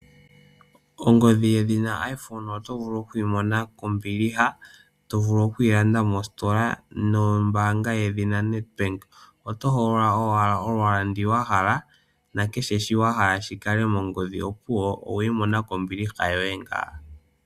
Ongodhi yedhina iPhone oto vulu okuyi mona kombiliha. Oto vulu okuyi landa mostola nombaanga yedhina NedBank, oto hogolola owala olwaala ndu wahala, nakeshe shi wahala shikale mo mongodhi opuwo oweyi mona kombiliha ngawo.